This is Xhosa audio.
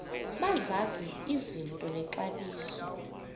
bazazi izinto nexabiso